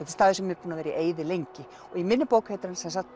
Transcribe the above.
staður sem er búinn að vera í eyði lengi og í minni bók heitir hann sem sagt